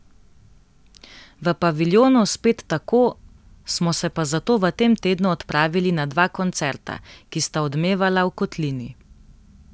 V paviljonu spet tako, Smo se pa zato v tem tednu odpravili na dva koncerta, ki sta odmevala v kotlini.